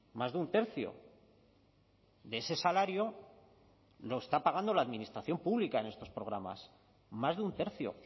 más de un tercio de ese salario lo está pagando la administración pública en estos programas más de un tercio